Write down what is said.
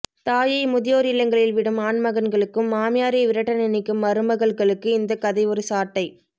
தாயை முதியோர் இல்லங்களில் விடும் ஆண் மகன்களுக்கும் மாமியரை விரட்ட நினைக்கும் மருமகள்களுக்கு இந்த கதை ஒரு சாட்டை